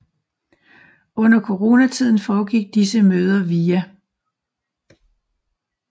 Under Corona tiden foregik disse møder via